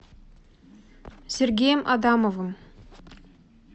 сергеем адамовым